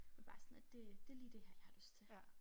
Er bare sådan lidt det det lige det her jeg har lyst til